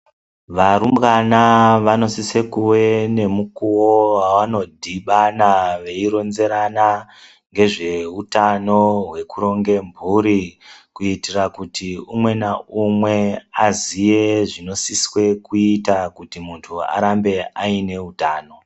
Varumbwana vanosise kuve nemukuwo wanodibana veyironzerana ngezvehutano hwekuronge mhuri, kuitira kuti umwe na umwe aziye zvinosiswe kuita kuti muntu arambe ayine hutano.